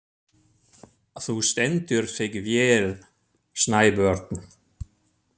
Þú stendur þig vel, Snæbjörn!